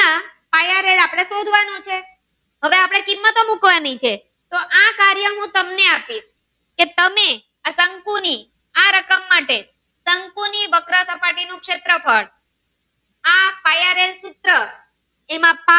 કિંમત મુકવાની છે તો આ કાર્ય હું તમને આપીશ કે તમે આ શંકુ ની આ રકમ માટે શંકુ ની વક્ર સપાટી નું શેત્રફ્ળ આ પાયા નું સૂત્ર